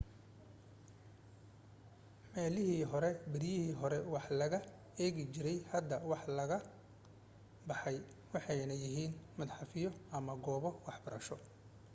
meelihii beryihii hore wax laga eegi jiray hadda waa laga baxay waxayna yihiin madxafyo ama goobo waxbarasho